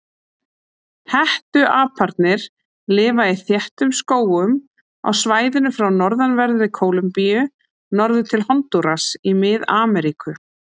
Hettuaparnir lifa í þéttum skógum á svæðinu frá norðanverðri Kólumbíu norður til Hondúras í Mið-Ameríku.